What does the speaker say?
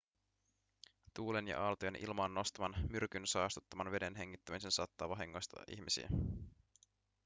tuulen ja aaltojen ilmaan nostaman myrkyn saastuttaman veden hengittäminen saattaa vahingoittaa ihmisiä